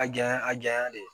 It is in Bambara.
A janya a janyana de